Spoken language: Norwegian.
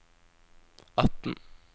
atten